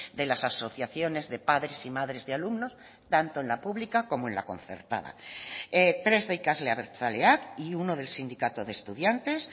de las asociaciones de padres y madres de alumnos tanto en la pública como en la concertada tres de ikasle abertzaleak y uno del sindicato de estudiantes